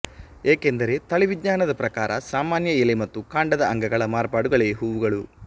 ಏಕೆಂದರೆ ತಳಿವಿಜ್ಞಾನದ ಪ್ರಕಾರ ಸಾಮಾನ್ಯ ಎಲೆ ಮತ್ತು ಕಾಂಡದ ಅಂಗಗಳ ಮಾರ್ಪಾಡುಗಳೇ ಹೂವುಗಳು